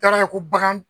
Taara ye ko bagan